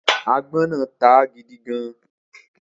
Agbón náà táá gidi gan-an.